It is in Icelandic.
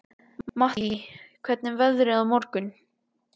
Mattý, hvernig er veðrið á morgun?